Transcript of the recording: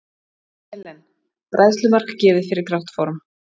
Selen: Bræðslumark gefið fyrir grátt form.